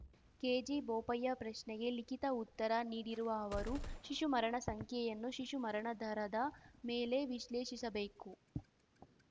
ಕೆಜಿಬೋಪಯ್ಯ ಪ್ರಶ್ನೆಗೆ ಲಿಖಿತ ಉತ್ತರ ನೀಡಿರುವ ಅವರು ಶಿಶು ಮರಣ ಸಂಖ್ಯೆಯನ್ನು ಶಿಶು ಮರಣ ದರದ ಮೇಲೆ ವಿಶ್ಲೇಷಿಸಬೇಕು